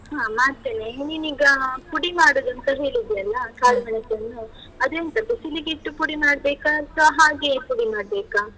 ಹಾ ಮಾಡ್ತೇನೆ, ನೀನೀಗ ಪುಡಿ ಮಾಡುದೂಂತ ಹೇಳಿದ್ಯಲ್ಲ ಕಾಳು ಮೆಣಸನ್ನು ಅದೆಂತ, ಬಿಸಿಲಿಗಿಟ್ಟು ಪುಡಿ ಮಾಡ್ಬೇಕಾ ಅಥ್ವ ಹಾಗೇ ಪುಡಿ ಮಾಡ್ಬೇಕಾ?